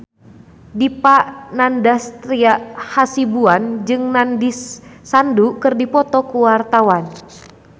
Dipa Nandastyra Hasibuan jeung Nandish Sandhu keur dipoto ku wartawan